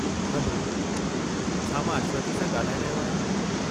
Hello, छा मां अश्वथी सां ॻाल्हाए रहियो आहियां?